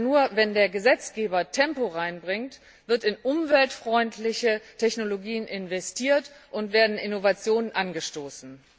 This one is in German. Denn nur, wenn der Gesetzgeber Tempo hineinbringt, wird in umweltfreundliche Technologien investiert und werden Innovationen angestoßen.